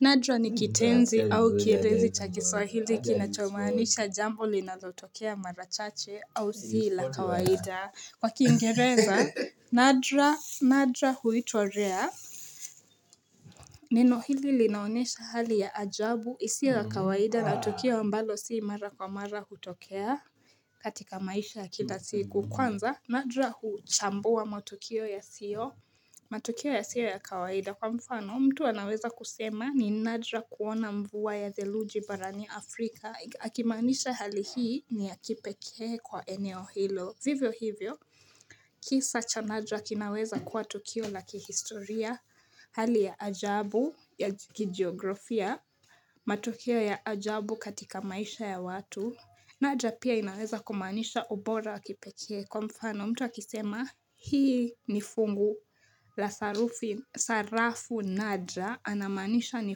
Nadra ni kitenzi au kielezi cha kiswahili kinachomaanisha jambo linalotokea mara chache au si la kawaida. Kwa kiingereza, Nadra, Nadra huitwa Rare. Neno hili linaonesha hali ya ajabu isiyo ya kawaida na tukio ambalo si mara kwa mara hutokea katika maisha ya kila siku. Kwanza, Nadra huchambua matukio yasio. Matukio yasio ya kawaida kwa mfano mtu anaweza kusema ni Nadra kuona mvua ya theluji barani Afrika akimaanisha hali hii ni ya kipekee kwa eneo hilo Vivyo hivyo kisa cha Nadra kinaweza kuwa tukio la kihistoria Hali ya ajabu ya kigeografia matukio ya ajabu katika maisha ya watu Nadra pia inaweza kumaanisha ubora wa kipekee kwa mfano mtu akisema Hii ni fungu la sarafu Nadra anamaanisha ni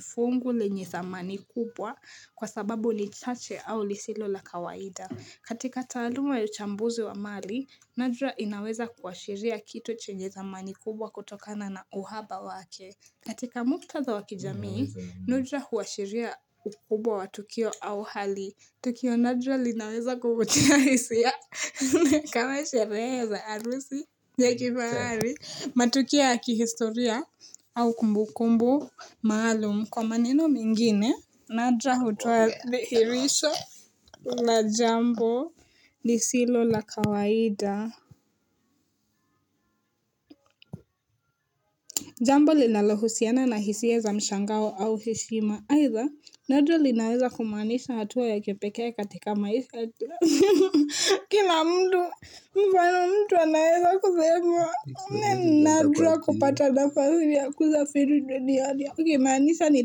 fungu lenye thamani kubwa kwa sababu ni chache au lisilo la kawaida. Katika taaluma ya uchambuzi wa mali, Nadra inaweza kuashiria kitu chenye thamani kubwa kutokana na uhaba wake. Katika muktadha wa kijamii, Nadra huashiria ukubwa wa Tukio au hali. Tukio Nadra linaweza kuvutia hisia kama sherehe za arusi ya kifahari matukio ya kihistoria au kumbukumbu maalum kwa maneno mengine Nadra hutoa dhihirisho la jambo lisilo la kawaida. Jambo linalohusiana na hisia za mshangao au heshima. Aidha, nadra linaweza kumaanisha hatua ya kipekee katika maisha. Kila mtu, mfano mtu anaeza kusema ni nadra kupata nafasi ya kusafiri duniani. Kumaanisha ni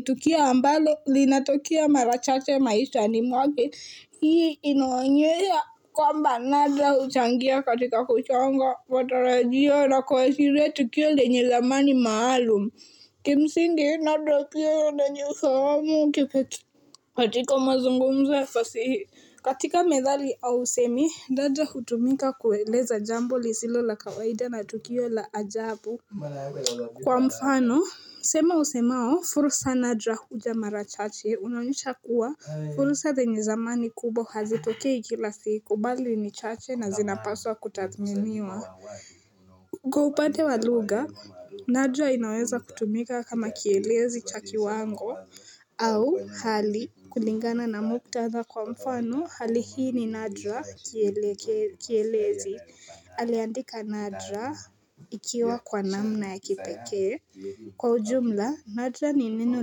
tukio ambalo, linatokea mara chache maishani mwake. Hii inaonyesha kwamba nadra huchangia katika kuchonga matarajio na kuashiria tukio lenye thamani maalum Kimsingi nadra pia una yenye ufahamu kipetu. Katika mazungumzo ya fasihi. Katika methali au usemi, nadra hutumika kueleza jambo lisilo la kawaida na tukio la ajabu. Kwa mfano, msemo usemao, fursa nadra huja mara chache. Unaonyesha kuwa, fursa zenye thamani kubwa hazitokei kila siku, bali ni chache na zinapaswa kutathminiwa. Kwa upande wa lugha, Nadra inaweza kutumika kama kielezi cha kiwango. Au hali kulingana na muktadha kwa mfano, hali hii ni Nadra kielezi. Aliandika Nadra ikiwa kwa namna ya kipekee. Kwa ujumla, Nadra ni neno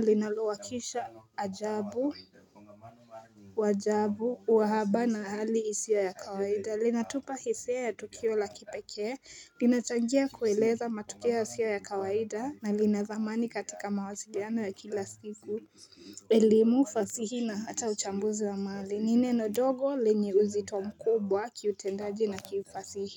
linalowakisha ajabu, wajabu, wahaba na hali isiyo ya kawaida. Linatupa hisia ya tukio la kipekee, linachangia kueleza matukio yasiyo ya kawaida na lina thamani katika mawasilianao ya kila siku elimu, fasihi na hata uchambuzi wa maali, ni neno dogo lenye uzito mkubwa kiutendaji na kifasihi.